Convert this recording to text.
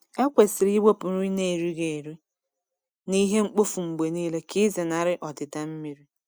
Ekwesịrị iwepụ nri a n’erighị eri na ihe mkpofu mgbe niile ka ịzenarị ọdịda mmiri.